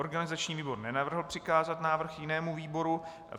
Organizační výbor nenavrhl přikázat návrh jinému výboru.